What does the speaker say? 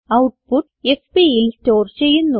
output fpൽ store ചെയ്യുന്നു